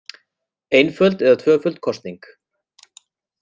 Einföld eða tvöföld kosning